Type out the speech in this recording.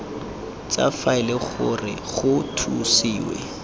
tsa faele gore go thusiwe